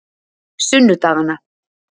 sunnudaganna